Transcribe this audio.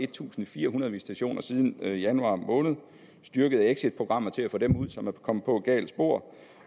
tusind fire hundrede visitationer siden januar måned styrkede exitprogrammer til at få dem ud som er kommet på et galt spor